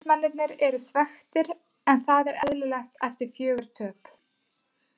Stuðningsmennirnir eru svekktir en það er eðlilegt eftir fjögur töp.